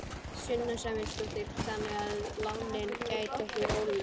Sunna Sæmundsdóttir: Þannig að lánin gætu verið ólögleg?